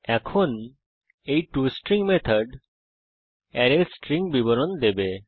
এখন এই to string method অ্যারের স্ট্রিং বিবরণ দেবে